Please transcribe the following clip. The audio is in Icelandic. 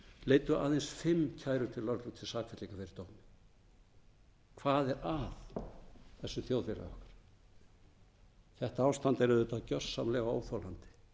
leiddu aðeins fimm kærur til lögreglu til sakfellinga fyrir dómi hvað er að þessu þjóðfélagi okkar þetta ástand er auðvitað gjörsamlega óþolandi